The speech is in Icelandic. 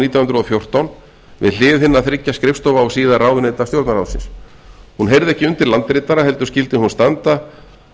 nítján hundruð og fjórtán við hlið hinna þriggja skrifstofa og síðar ráðuneyta stjórnarráðsins hún heyrði ekki undir landritara heldur skyldi hún standa